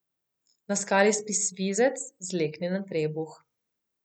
Na skali spi svizec, zleknjen na trebuh.